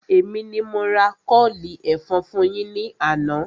Èmi ni mo ra kọ́ọ̀lì ẹ̀fọn fún yín ní àná